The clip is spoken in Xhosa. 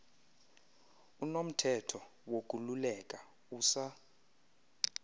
unomthetho wokululeka usa